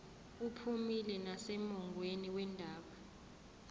uphumile nasemongweni wendaba